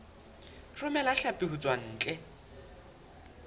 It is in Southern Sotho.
romela hlapi ho tswa ntle